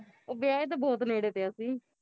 ਉਹ ਵਿਆਹੇ ਤਾਂ ਬਹੁਤ ਨੇੜੇ ਤੇ ਅਸੀਂ